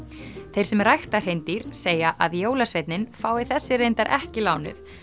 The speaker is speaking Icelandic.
þeir sem rækta hreindýr segja að jólasveinninn fái þessi reyndar ekki lánuð